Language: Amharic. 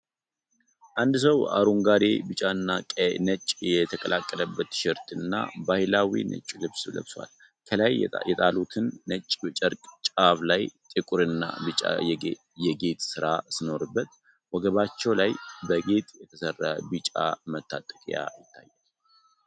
አንድ ሰው አረንጓዴ፣ ቢጫና ነጭ የተቀላቀለበት ቲሸርትና ባህላዊ ነጭ ልብስ ለብሷል። ከላይ የጣሉትን ነጭ ጨርቅ ጫፍ ላይ ጥቁርና ቢጫ የጌጥ ሥራ ሲኖርበት፤ ወገባቸው ላይ በጌጥ የተሠራ ቢጫ መታጠቂያ ይታያል።